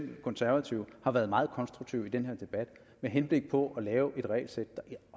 de konservative har været meget konstruktive i den her debat med henblik på at lave et regelsæt der